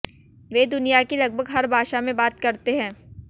वे दुनिया की लगभग हर भाषा में बात करते हैं